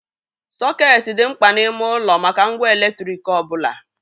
Soket dị mkpa n'ime ụlọ maka ngwa eletrik ọ bụla.